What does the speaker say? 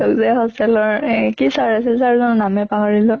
এই যে hostel ৰ এই কি sir আছিল sir জনৰ নামে পাহৰিলো।